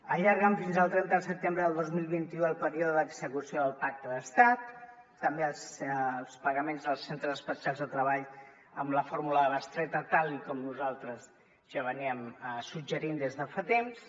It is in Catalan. allarguen fins al trenta de setembre del dos mil vint u el període d’execució del pacte d’estat també els pagaments als centres especials de treball amb la fórmula de bestreta tal com nosaltres ja suggeríem des de fa temps